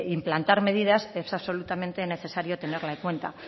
implantar medidas es absolutamente necesario tenerlo en cuenta